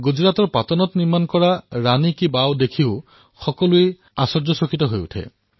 গুজৰাটৰ পাটনত ১১শ শতাব্দীচ ৰাণীৰ বাব প্ৰত্যক্ষ কৰি সকলো আশ্বৰ্যচকিত হৈ উঠে